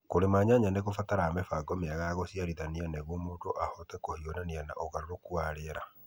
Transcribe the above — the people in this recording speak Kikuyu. Kũrĩma nyanya nĩ kũbataraga mĩbango mĩega ya gũcĩarithania nĩguo mũndũ ahote kũhiũrania na ũgarũrũku wa rĩera.